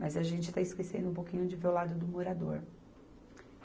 Mas a gente está esquecendo um pouquinho de ver o lado do morador.